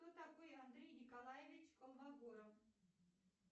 кто такой андрей николаевич колмогоров